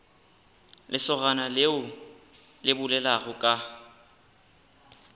lesogana leo le bolelago ka